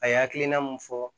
A ye hakilina mun fɔ